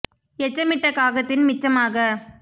எச்சமிட்ட காகத்தின் மிச்ச மாக